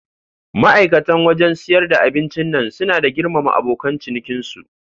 Ma'aikata wajan siyar da abincin nan suna da girmama abokan ciniki su